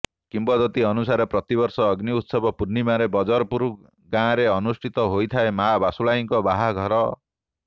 କିମ୍ବଦନ୍ତୀ ଅନୁସାରେ ପ୍ରତିବର୍ଷ ଅଗ୍ନି ଉତ୍ସବ ପୂର୍ଣ୍ଣିମାରେ ବଜରପୁର ଗାଁରେ ଅନୁଷ୍ଠିତ ହୋଇଥାଏ ମାଆ ବାସୁଳାଇଙ୍କ ବାହାଘର